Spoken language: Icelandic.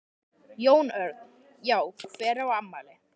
Jón Örn: Já hver á afmæli?